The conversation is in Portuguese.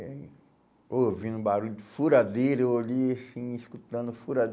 E aí, ouvindo o barulho de furadeira, eu olhei assim, escutando